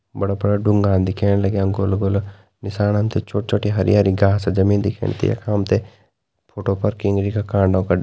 बड़ा-बड़ा ढुंगा दिख्येण लाग्यां गोला-गोला निसाण हमते छोट-छोटी हरी-हरी घास जमीन दिख्याणी यख हमते फोटो पर किंगरी का कांडा --